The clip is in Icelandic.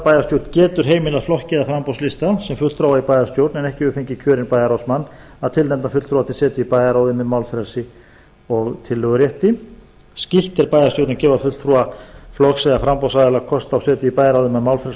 bæjarstjórn getur heimilað flokki eða framboðslista sem fulltrúa í bæjarstjórn en ekki hefur fengið kjörinn bæjarráðsmann að tilnefna fulltrúa til setu í bæjarráði með málfrelsi og tillögurétti skylt er bæjarstjórn að gefa fulltrúa flokks eða framboðsaðila kost á setu í bæjarráði með málfrelsi